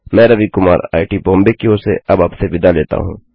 मैं रवि कुमार आईआईटी बॉम्बे की ओर से अब आपसे विदा लेता हूँ